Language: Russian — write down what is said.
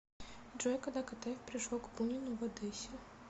джой когда катаев пришел к бунину в одессе